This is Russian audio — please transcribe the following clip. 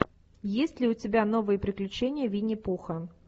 есть ли у тебя новые приключения винни пуха